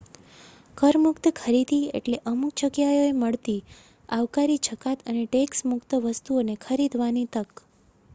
કર-મુક્ત ખરીદી એટલે અમુક જગ્યાઓએ મળતી આવકારી જકાત અને ટેક્સ મુક્ત વસ્તુઓને ખરીદવાની તક